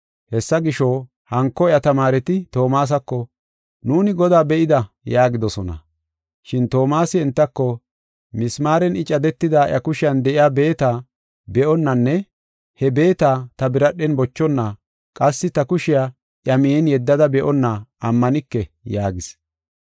Hessa gisho, hanko iya tamaareti Toomasako, “Nuuni Godaa be7ida” yaagidosona. Shin Toomasi entako, “Misimaaren I cadetida iya kushiyan de7iya beeta be7onnanne he beeta ta biradhen bochonna, qassi ta kushiya iya miyen yedda be7onna ammanike” yaagis.